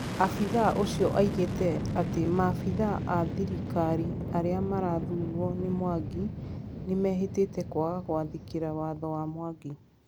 Afithaa ũcio augĩte atĩ maafithaa a thirikari arĩa marathurũo nĩ mwangi nĩmehĩtĩte kwaga gwathĩkĩa watho wa mwangi